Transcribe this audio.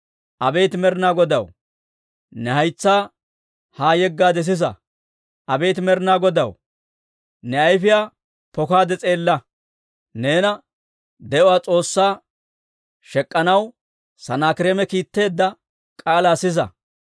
Abeet Med'ina Godaw, ne haytsa haa yeggaade sisa. Abeet Med'ina Godaw, ne ayfiyaa pokaade s'eella. Neena, de'uwaa S'oossaa shek'k'anaw Sanaakireeme kiitteedda k'aalaa sisa.